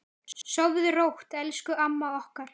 Sofðu rótt elsku amma okkar.